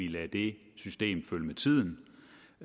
lader det system følge med tiden